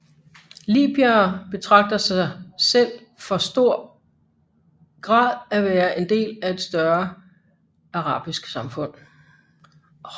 Libyere betragter sig selv for i stor grad at være en del af et større arabisk samfund